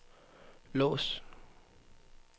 lås